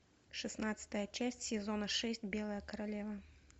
шестнадцатая часть сезона шесть белая королева